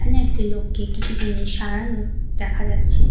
এখানে একটি লোককে কিছু জিনিস সারানোর দেখা যাচ্ছে।